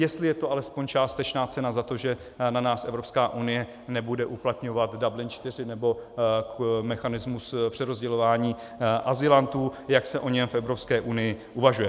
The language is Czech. Jestli je to alespoň částečná cena za to, že na nás Evropská unie nebude uplatňovat Dublin IV, nebo mechanismus přerozdělování azylantů, jak se o něm v Evropské unii uvažuje.